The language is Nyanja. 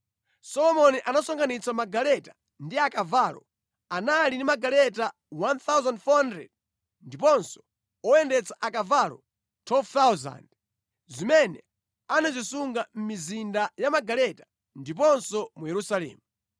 Solomoni anasonkhanitsa magaleta ndi akavalo; anali ndi magaleta 1,400 ndiponso oyendetsa akavalo 12,000, zimene anazisunga mʼmizinda ya magaleta ndiponso mu Yerusalemu.